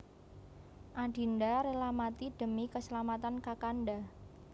Adinda rela mati demi keselamatan Kakanda